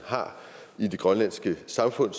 har i det grønlandske samfund